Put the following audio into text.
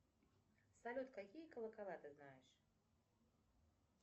салют какие колокола ты знаешь